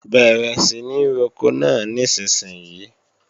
Bẹ̀rẹ̀ sí ní roko náà nísinsìnyí!